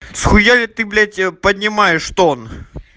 схуяли ты блять я понимаю что он